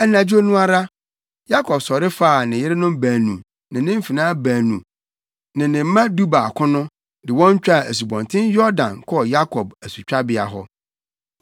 Anadwo no ara, Yakob sɔre faa ne yerenom baanu ne ne mfenaa baanu no ne ne mma dubaako no, de wɔn twaa Asubɔnten Yordan wɔ Yabok asutwabea hɔ.